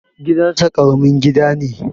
Gidan nasa Karamin gida ne